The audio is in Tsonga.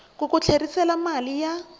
ku ku tlherisela mali ya